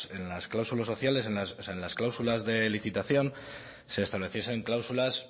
que en las clausulas sociales o sea en las cláusulas de licitación se estableciesen cláusulas